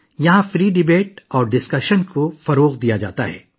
یہاں آزادانہ بحث ومباحثہ کی حوصلہ افزائی کی جاتی تھی